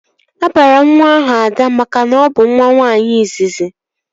A bụrụ nwa ahụ Ada makana ọ bụ nwa nwaanyị izizi